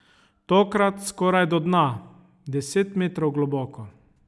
Tokrat skoraj do dna, deset metrov globoko.